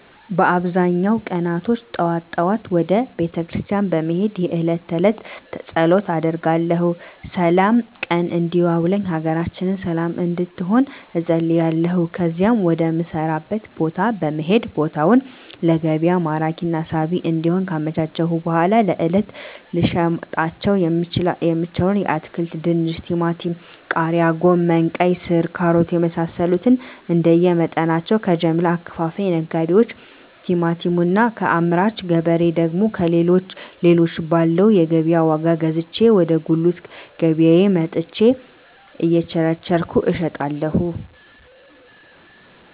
በአብዛኛው ቀናቶች ጠዋት ጠዋት ወደ ቤተክርስቲያን በመሄድ የእለት ተእለት ፀሎት አደርጋለሁ ስላም ቀን እንዲያውለኝ ሀገራችንን ሰለም እንድትሆን እፀልያለሁ ከዚያም ወደ ምሰራበት ቦታ በመሄድ ቦታውን ለገቢያ ማራኪና ሳቢ እንዲሆን ካመቻቸሁ በኃላ ለእለት ልሸጣቸው የምችለዉን አትክልቶች ድንች ቲማቲም ቃሪያ ጎመን ቀይስር ካሮት የመሳሰሉትንእንደየ መጠናቸው ከጀምላ አከፋፋይ ነጋዴዎች ቲማቲሙን እና ከአምራች ገበሬ ደግሞ ሌሎችን ባለው የገቢያ ዋጋ ገዝቼ ወደ ጉልት ገቢያየ መጥቸ እየቸረቸርኩ እሸጣለሁ